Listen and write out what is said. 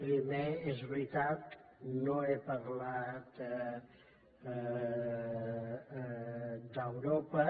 primer és veritat no he parlat d’europa